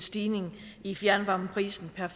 stigning i fjernvarmeprisen per